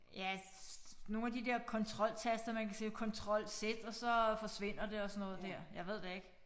Ja nogle af de der controltaster man kan sige control z og så forsvinder det og sådan noget dér jeg ved det ikke